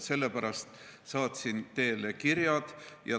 Sellepärast saatsin teele kirjad.